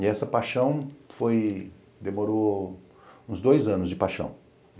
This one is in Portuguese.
E essa paixão foi... Demorou uns dois anos de paixão.